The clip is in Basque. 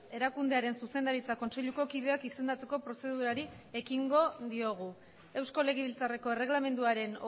erakundearen zuzendaritza kontseiluko kideak izendatzeko prozedurari ekingo diogu eusko legebiltzarreko erregelamenduaren